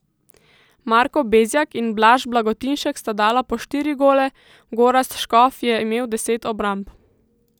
Marko Bezjak in Blaž Blagotinšek sta dala po štiri gole, Gorazd Škof je imel deset obramb.